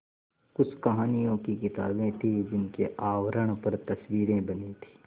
कुछ कहानियों की किताबें थीं जिनके आवरण पर तस्वीरें बनी थीं